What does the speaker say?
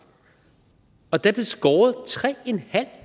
der blev skåret tre